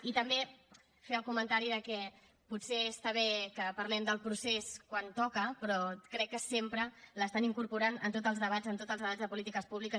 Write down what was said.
i també fer el comentari que potser està bé que parlem del procés quan toca però crec que sempre l’estan incorporant en tots els debats en tots els debats de polítiques públiques